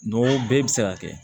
N'o bɛɛ bɛ se ka kɛ